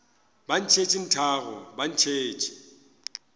ba ntšhetše nthago ba ntšhetše